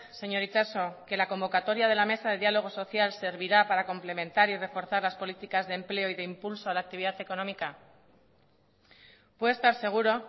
señor itxaso que la convocatoria de la mesa de diálogo social servirá para complementar y reforzar las políticas de empleo y de impulso a la actividad económica puede estar seguro